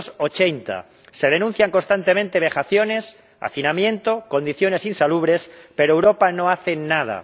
280. Se denuncian constantemente vejaciones, hacinamiento, condiciones insalubres, pero Europa no hace nada.